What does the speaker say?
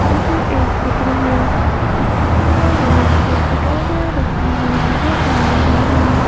किसी एक चित्र से इस चित्र में बहुत सी किताबें रखी हुई नजर आ रही है।